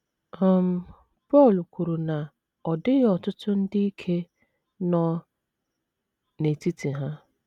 um Pọl kwuru na “ ọ dịghị ọtụtụ ndị ike ” nọ n’etiti ha.